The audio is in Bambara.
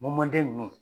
Mɔden ninnu